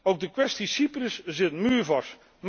Ook de kwestie Cyprus zit muurvast.